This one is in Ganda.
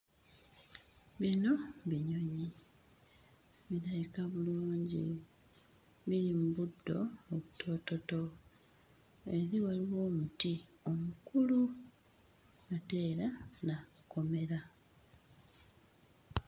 Bino binyonyi. Birabika bulungi, biri mu buddo obutoototo. Eri waliwo omuti omukulu ate era n'akakomera.